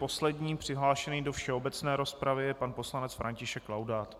Posledním přihlášeným do všeobecné rozpravy je pan poslanec František Laudát.